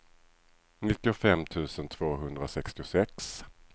nittiofem tusen tvåhundrasextiosex